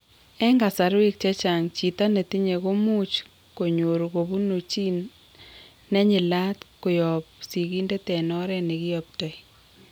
En kasarwek chechang', chito netinye komuch konyoru kobun gene nenyilat koyob sigindet en oret nekiyoptoi